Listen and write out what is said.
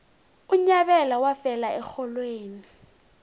unyabela wafela erholweni